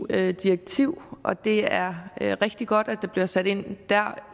eu direktiv og det er rigtig godt at der bliver sat ind der